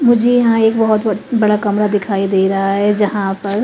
मुझे यहां एक बहोत ब बड़ा कमरा दिखाई दे रहा है जहां पर--